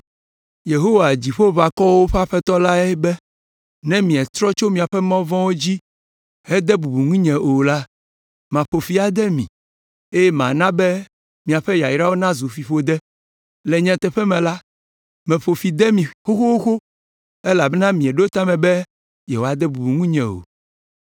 Yehowa, Dziƒoʋakɔwo ƒe Aƒetɔ la be, ‘Ne mietrɔ tso miaƒe mɔ vɔ̃wo dzi hede bubu ŋunye o la, maƒo fi ade mi, eye mana be miaƒe yayrawo nazu fiƒode. Le nyateƒe me la, meƒo ƒi de mi xoxo elabena mieɖo ta me be yewoade bubu ŋunye o.’